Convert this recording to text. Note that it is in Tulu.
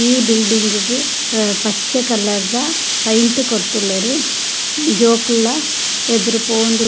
ಈ ಬಿಲ್ಡಿಂಗ್ ಗ್ ಪಚ್ಚೆ ಕಲರ್ದ ಪೈಂಟ್ ಕೊರ್ತುಲ್ಲೆರ್ ಜೋಕುಲ್ಲ ಎದುರು ಪೋವೊಂದ್ --